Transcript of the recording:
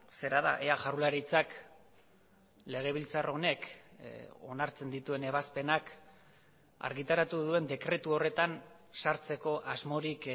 zera da ea jaurlaritzak legebiltzar honek onartzen dituen ebazpenak argitaratu duen dekretu horretan sartzeko asmorik